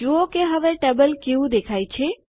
જુઓ કે હવે ટેબલ કેવું દેખાય છે